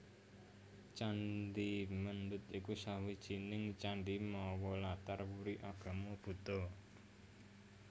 Candhi Mendut iku sawijining candhi mawa latar wuri agama Buddha